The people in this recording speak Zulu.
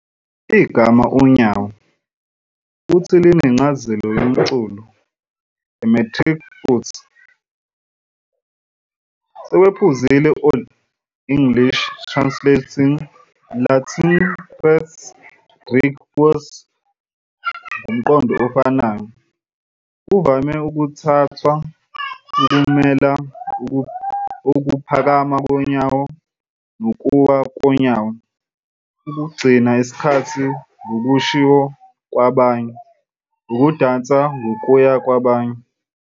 "Igama "unyawo" futhi linencazelo yomculo, a "metric foot, sekwephuzile Old English, translating Latin pes, Greek pous ngomqondo ofanayo, kuvame ukuthathwa ukumela ukuphakama okukodwa nokuwa konyawo- ukugcina isikhathi ngokusho kwabanye, ukudansa ngokuya kwabanye."